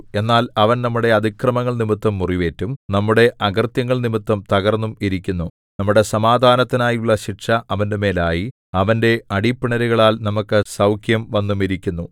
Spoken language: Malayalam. എന്നാൽ അവൻ നമ്മുടെ അതിക്രമങ്ങൾനിമിത്തം മുറിവേറ്റും നമ്മുടെ അകൃത്യങ്ങൾനിമിത്തം തകർന്നും ഇരിക്കുന്നു നമ്മുടെ സമാധാനത്തിനായുള്ള ശിക്ഷ അവന്റെമേൽ ആയി അവന്റെ അടിപ്പിണരുകളാൽ നമുക്കു സൗഖ്യം വന്നുമിരിക്കുന്നു